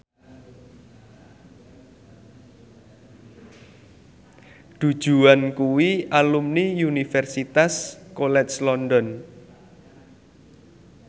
Du Juan kuwi alumni Universitas College London